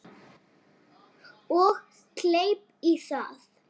Og kleip í það.